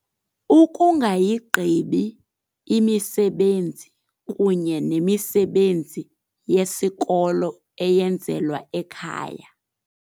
Ukungayigqibi imisebenzi kunye nemisebenzi yesikolo eyenzelwa ekhaya.